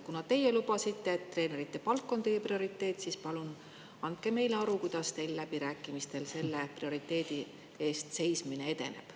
Kuna teie lubasite, et treenerite palk on teie prioriteet, siis palun andke meile aru, kuidas teil läbirääkimistel selle prioriteedi eest seismine edeneb.